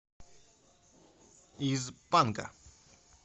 из панка